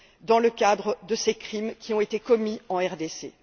dans le cadre de ces crimes qui ont été commis dans le pays.